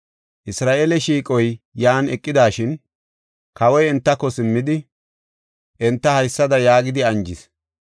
Isra7eele shiiqoy yan eqidashin, kawoy entako simmidi, enta haysada yaagidi anjis;